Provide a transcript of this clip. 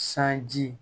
Sanji